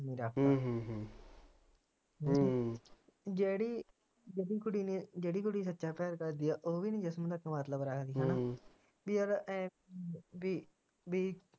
ਜਿਹੜੀ ਕੁੜੀ ਨੇ ਜਿਹੜੀ ਕੁੜੀ ਸੱਚਾ ਪਿਆਰ ਕਰਦੀ ਆ ਓਵੀ ਨਹੀਂ ਜਿਸਮ ਨਾ ਮਤਲਬ ਰੱਖਦੀ ਹੈਨਾ ਈ ਯਾਰ ਏ ਪੀ